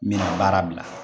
N mi baara bila